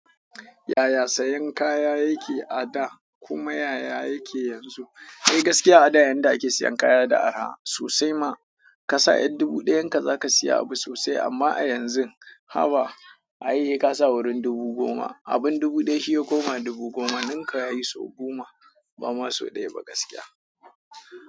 Yaya sayan kaya yake a da kuma yaya yake yanzu? Kai gaskiya a da yanda ake sayan kaya da araha sosai ma ka sa ƴan dubu ɗayan ka zaka siya abu sosai amma a yanzu haba, ai sai ka sa wurin dubu goma, abun dubu ɗaya shi ya koma dubu goma, ninka yayi sau guma bama so ɗaya ba gaskiya.